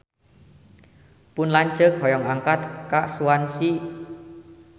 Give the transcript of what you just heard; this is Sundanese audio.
Pun lanceuk hoyong angkat ka Swansea